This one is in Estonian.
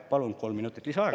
Palun kolm minutit lisaaega.